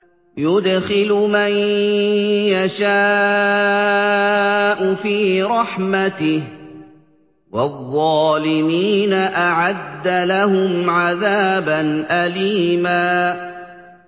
يُدْخِلُ مَن يَشَاءُ فِي رَحْمَتِهِ ۚ وَالظَّالِمِينَ أَعَدَّ لَهُمْ عَذَابًا أَلِيمًا